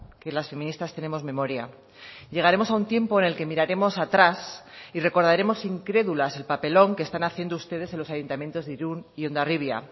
que las feministas tenemos memoria llegaremos a un tiempo en el que miraremos atrás y recordaremos incrédulas el papelón que están haciendo ustedes en los ayuntamientos de irún y hondarribia